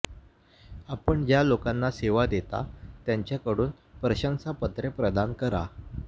आपण ज्या लोकांना सेवा देता त्यांच्याकडून प्रशंसापत्रे प्रदान करा